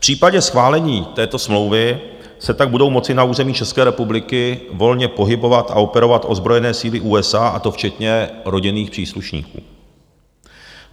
V případě schválení této smlouvy se tak budou moci na území České republiky volně pohybovat a operovat ozbrojené síly USA, a to včetně rodinných příslušníků.